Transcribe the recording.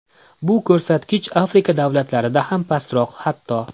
Bu ko‘rsatkich Afrika davlatlarida ham pastroq hatto.